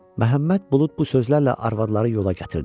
Məhəmməd Bulud bu sözlərlə arvadları yola gətirdi.